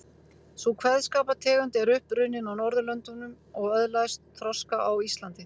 Sú kveðskapartegund er upp runnin á Norðurlöndum og öðlaðist þroska á Íslandi.